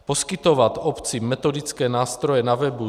Poskytovat obcím metodické nástroje na webu.